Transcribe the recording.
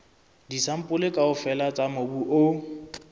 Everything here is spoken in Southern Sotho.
disampole kaofela tsa mobu o